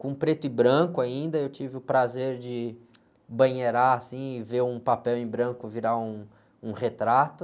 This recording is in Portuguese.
com preto e branco ainda, eu tive o prazer de banheirar assim, ver um papel em branco virar um, um retrato.